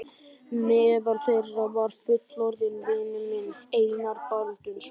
Meðal þeirra var fullorðinn vinur minn, Einar Baldvinsson.